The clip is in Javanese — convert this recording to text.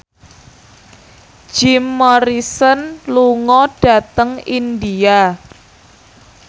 Jim Morrison lunga dhateng India